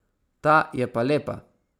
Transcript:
Ta je pa lepa.